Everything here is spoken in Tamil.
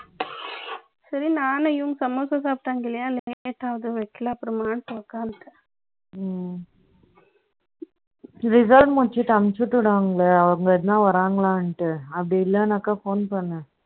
சரி, நானும் இவங்க சமோசா சாப்பிட்டாங்க இல்லையா வைக்கலை. அப்புறமா உட்கார்ந்துட்டேன். ம்ம். Reserve முடிச்சிட்டு, அனுப்பிச்சு விட்டுடுவாங்க இல்லை அவங்க எதுனா வர்றாங்களான்ட்டு அப்படி இல்லைன்னாக்கா, phone பண்ணு